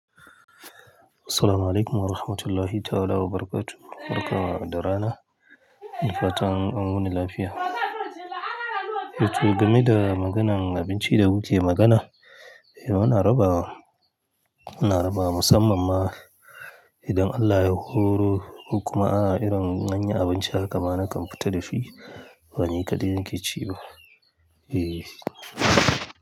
Assalamu alaikum wa rahmatullahi ta'ala wa barakatu. Barka da rana. Da fatan an wuni lafiya. To game da maganar abinci da muke magana, eh muna rabawa, muna rabawa musamman ma idan Allah ya horo ko kuma aa irin anyi abinci haka ma na kan fita da shi. Ba ni kaɗai nake ci ba. Eh.